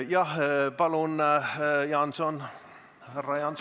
Jah, palun, härra Jaanson!